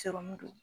don